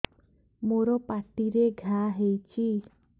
ମୋର ପାଟିରେ ଘା ହେଇଚି